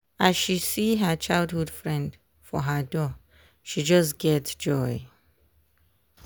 as she see her childhood friend for her door she just get joy.